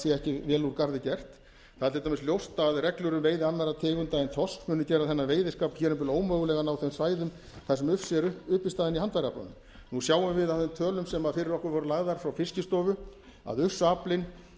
sé ekki vel úr garði gert það er til dæmis ljóst að reglur um veiði annarra tegunda en þorsks muni gera þennan veiðiskap hér um bil ómögulegan á þeim svæðum þar sem ufsi er uppistaðan í handfæraaflanum nú sjáum við af þeim tölum sem fyrir okkur voru lagðar frá fiskistofu að ufsaaflinn